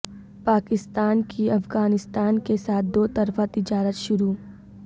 پاکستان کی افغانستان کے ساتھ دو طرفہ تجارت شروع